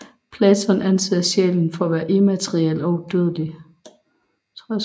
Platon anser sjælen for at være immateriel og udødelig